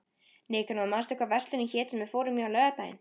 Nikanor, manstu hvað verslunin hét sem við fórum í á laugardaginn?